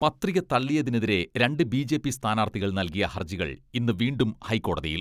പത്രിക തള്ളിയതിനെതിരെ രണ്ട് ബിജെപി സ്ഥാനാർത്ഥികൾ നൽകിയ ഹർജികൾ ഇന്ന് വീണ്ടും ഹൈക്കോടതിയിൽ.